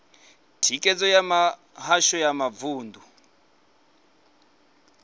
thikhedzo ya mihasho ya mavunḓu